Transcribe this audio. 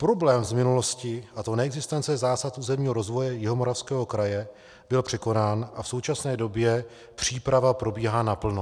Problém z minulosti, a to neexistence zásad územního rozvoje Jihomoravského kraje, byl překonán a v současné době příprava probíhá naplno.